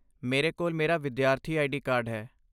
ਮੇਰੇ ਕੋਲ ਮੇਰਾ ਵਿਦਿਆਰਥੀ ਆਈਡੀ ਕਾਰਡ ਹੈ।